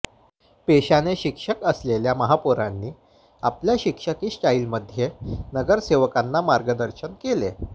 पेशाने शिक्षक असलेल्या महापौरांनी आपल्या शिक्षकी स्टाइलमध्ये नगरसेवकांना मार्गदर्शन केले